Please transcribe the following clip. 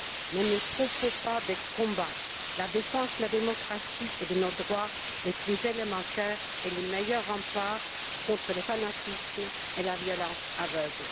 Ne nous trompons pas de combat la défense de la démocratie et de nos droits les plus élémentaires est le meilleur rempart contre le fanatisme et la violence aveugle.